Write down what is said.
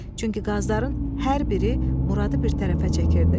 Çünki qazların hər biri Muradı bir tərəfə çəkirdi.